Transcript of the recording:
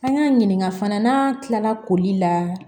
An y'a ɲininka fana n'an kilala koli la